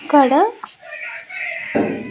ఇక్కడ